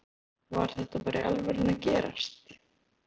Var þetta bara í alvörunni að gerast??